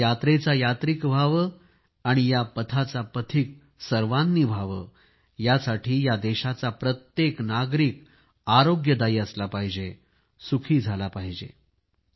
या यात्रेचा यात्रिक व्हावे आणि या मार्गा वर सर्वांनी पांथस्त व्हावे यासाठी या देशाचा प्रत्येक नागरिक आरोग्यदायी असला पाहिजे सुखी झाला पाहिजे